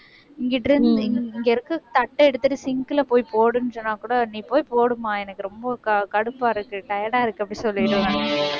இங்கிட்டு உம் இங்க இருக்க தட்டை எடுத்துட்டு sink ல போய் போடுன்னு சொன்னாக்கூட நீ போய் போடும்மா எனக்கு ரொம்ப கடுப்பா இருக்கு tired ஆ இருக்கு அப்படி சொல்லிடுவேன்